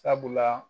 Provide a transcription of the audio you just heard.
Sabula